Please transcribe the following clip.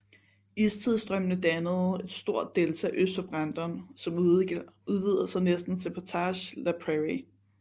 Istidsstrømmende dannede et stort delta øst for Brandon som udvider sig næsten til Portage la Prairie